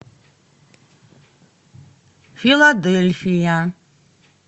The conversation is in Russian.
филадельфия